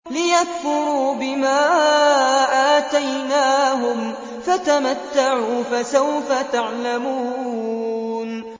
لِيَكْفُرُوا بِمَا آتَيْنَاهُمْ ۚ فَتَمَتَّعُوا ۖ فَسَوْفَ تَعْلَمُونَ